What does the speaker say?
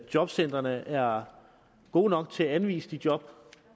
jobcentrene er gode nok til at anvise job